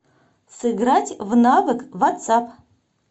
сыграть в навык ватсап